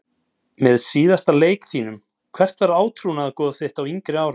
Með síðasta leik þínum Hvert var átrúnaðargoð þitt á yngri árum?